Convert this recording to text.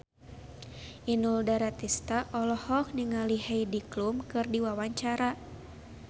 Inul Daratista olohok ningali Heidi Klum keur diwawancara